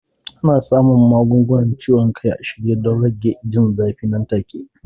Ana samun magungunan ciwon kai a shirye don rage jin zafi nan take.